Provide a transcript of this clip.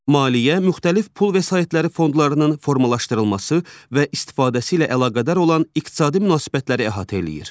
Maliyyə müxtəlif pul vəsaitləri fondlarının formalaşdırılması və istifadəsi ilə əlaqədar olan iqtisadi münasibətləri əhatə eləyir.